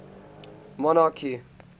monarchy